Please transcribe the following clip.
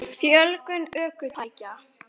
Fjölgun ökutækja?